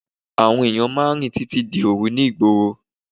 Àwọn ènìyàn máà ń rìn títí di òru ní ìgboro.